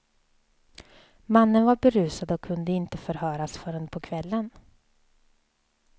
Mannen var berusad och kunde inte förhöras förrän på kvällen.